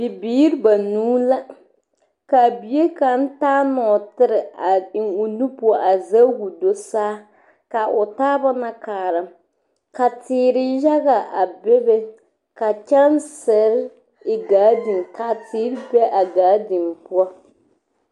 Bibiiri banuu la kaa bie kaŋa taa nɔɔtere a e o nu poɔ a sege ka o do saa kaa o taaba na kaara ka teere yaga a be be ka kyɛnsere e garden ka teere be a garden poɔ